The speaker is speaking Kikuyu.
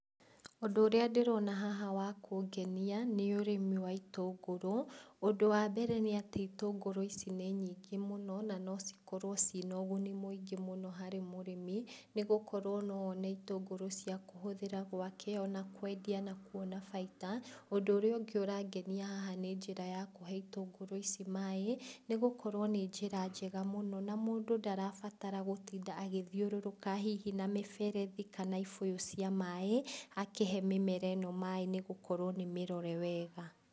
ũndũ ũrĩa ndĩrona haha wa kũngenia, nĩ ũrĩmi wa itũngũrũ, ũndũ wa mbere, nĩ atĩ itũngũrũ ici nĩ nyingĩ mũno, na no cikorwo cina ũguni mũingĩ mũno harĩ mũrĩmi, nĩ gũkorwo no one itũngũrũ cia kũhũthĩra gwake, ona kwendia na kuona baita, ũndũ ũrĩa ũngĩ ũrangenia haha nĩ njĩra ya kũhe itũngũrũ ici maaĩ, nĩ gũkorwo nĩ njĩra njega mũno, na mũndũ ndarabatara gũtinda agĩthiũrũrũka hihi na mĩberethi, kana ibũyũ cia maaĩ, akĩhe mĩmera ĩno maaĩ nĩ gũkorwo nĩ mĩrore wega.